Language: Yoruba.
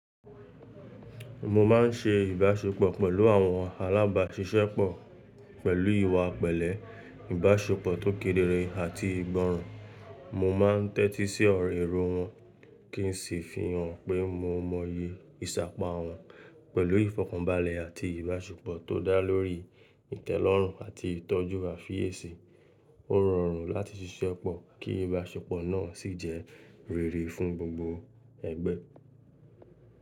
Mo má n se ìbáṣepọ̀ pẹ̀lú àwọn alábàáṣiṣẹ́ pọ̀ pẹ̀lú ìwà pẹ̀lẹ́, ìbáṣepọ̀ tó kédéré àti ìgbọràn. Mo má n tẹ́tí sí ọ̀rọ̀ èrò wọn kí n sì fi hàn pé mo mọyẹ ìsàpá wọn. Pẹ̀lú ìfọ̀kànbalẹ̀ àti ìbáṣepọ̀ tó dá lórí ìtẹ́lọ́rùn àti ìtọ́jú àfiésè, ó rọrùn láti ṣiṣẹ́ pọ̀ kí ìbáṣepọ̀ náà sì jẹ́ rere fún gbògbò ẹgbẹ́.